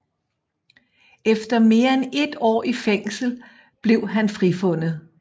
Efter mere end et år i fængsel blev han frifundet